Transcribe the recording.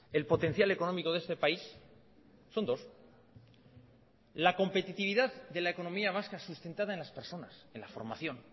el potencial económico de este país son dos la competitividad de la economía vasca sustentada en las personas en la formación